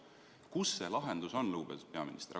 " Kus see lahendus on, lugupeetud peaminister?